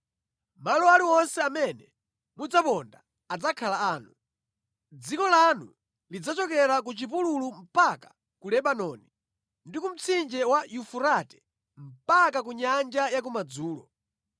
Malo aliwonse amene mudzaponda adzakhala anu: dziko lanu lidzachokera ku chipululu mpaka ku Lebanoni, ndi ku Mtsinje wa Yufurate mpaka ku nyanja ya kumadzulo.